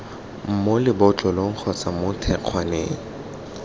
mo lebotlolong kgotsa mo thekgwaneng